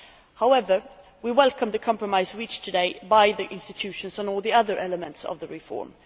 However, we welcome the compromise reached today by the institutions on all the other elements of the reform.